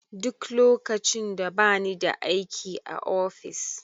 Duk lokacin da bani da aiki a ofis.